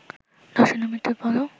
ধর্ষণ ও মৃত্যুর পরেও